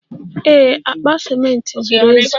Ee, akpa ciment zuru ezu.